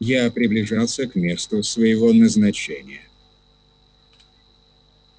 я приближался к месту своего назначения